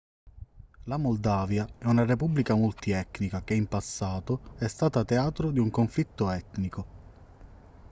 la moldavia è una repubblica multietnica che in passato è stata teatro di un conflitto etnico